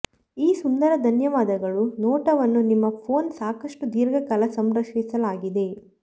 ಈ ಸುಂದರ ಧನ್ಯವಾದಗಳು ನೋಟವನ್ನು ನಿಮ್ಮ ಫೋನ್ ಸಾಕಷ್ಟು ದೀರ್ಘಕಾಲ ಸಂರಕ್ಷಿಸಲಾಗಿದೆ